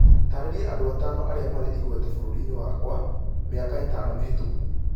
taarĩria andũ atano arĩa marĩ igweta bũrũri-inĩ wakwa mĩaka ĩtano mĩhĩtũku